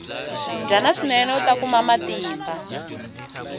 dyana swinene uta kuma matimba